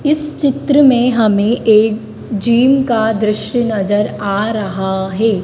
इस चित्र में हमें एक जिम का दृश्य नजर आ रहा है।